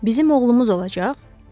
Bizim oğlumuz olacaq?